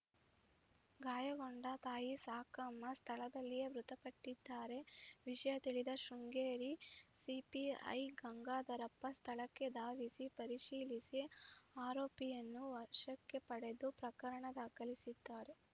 ಗಾಯಗೊಂಡ ತಾಯಿ ಸಾಕಮ್ಮ ಸ್ಥಳದಲ್ಲಿಯೇ ಮೃತಪಟ್ಟಿದ್ದಾರೆ ವಿಷಯ ತಿಳಿದ ಶೃಂಗೇರಿ ಸಿಪಿಐ ಗಂಗಾಧರಪ್ಪ ಸ್ಥಳಕ್ಕೆ ದಾವಿಸಿ ಪರೀಶೀಲಿಸಿ ಆರೋಪಿಯನ್ನು ವಶಕ್ಕೆ ಪಡೆದು ಪ್ರಕರಣ ದಾಖಲಿಸಿದ್ದಾರೆ